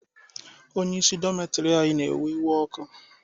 Onyeisi dọmitiri anyị na-ewe oké iwe.